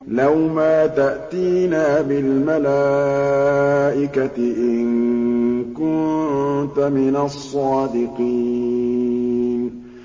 لَّوْ مَا تَأْتِينَا بِالْمَلَائِكَةِ إِن كُنتَ مِنَ الصَّادِقِينَ